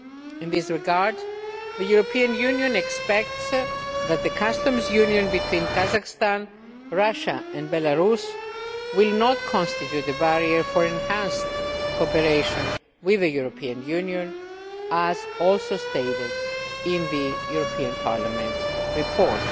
In this regard, the European Union expects that the customs union between Kazakhstan, Russia and Belarus will not constitute a barrier for enhanced cooperation with the European Union as also stated in the European Parliament report.